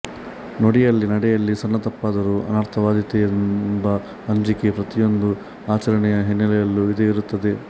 ನುಡಿಯಲ್ಲಿ ನಡೆಯಲ್ಲಿ ಸಣ್ಣ ತಪ್ಪಾದರೂ ಅನರ್ಥವಾದೀತೆಂಬ ಅಂಜಿಕೆ ಪ್ರತಿಯೊಂದು ಆಚರಣೆಯ ಹಿನ್ನೆಲೆಯಲ್ಲೂ ಇದ್ದೇ ಇರುತ್ತದೆ